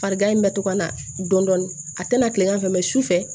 Farigan in bɛ to ka na dɔɔnin a tɛna tilegan fɛ su fɛ